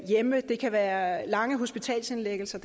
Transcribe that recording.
det kan være lange hospitalsindlæggelser